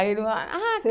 Aí ele, ah